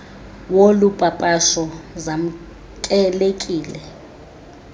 wolu papasho zamkelekile